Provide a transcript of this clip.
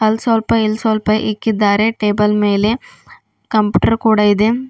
ಅಲ್ ಸ್ವಲ್ಪ ಇಲ್ ಸ್ವಲ್ಪ ಇಕ್ಕಿದ್ದಾರೆ ಟೇಬಲ್ ಮೇಲೆ ಕಂಪ್ಯೂಟರ್ ಕೂಡ ಇದೆ.